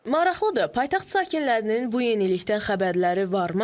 Maraqlıdır, paytaxt sakinlərinin bu yenilikdən xəbərləri varmı?